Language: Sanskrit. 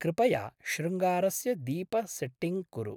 कृपया शृङ्गारस्य दीपसेट्टिङ्ग् कुरु।